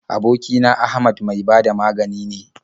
Aboki na Ahmad mai ba da magani ne.